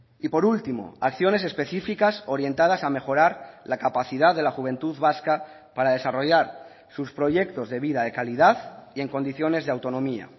y por último acciones específicas orientadas a mejorar la capacidad de la juventud vasca para desarrollar sus proyectos de vida de calidad y en condiciones de autonomía